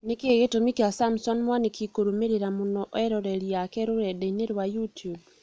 Nĩkĩĩ gĩtũmi kĩa Samson Mwanĩki kũrũmĩrĩra mũno eroreri ake rũrenda-inĩ rwa youtube